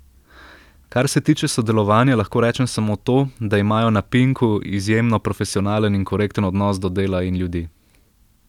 Kar se tiče sodelovanja, lahko rečem samo to, da imajo na Pinku izjemno profesionalen in korekten odnos do dela in ljudi.